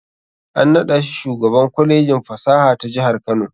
An nada shi shugaban kwalejin fasaha ta jihar Kano.